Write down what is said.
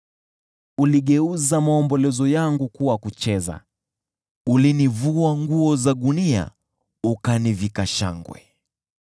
Uligeuza maombolezo yangu kuwa kucheza, ulinivua nguo za gunia ukanivika shangwe,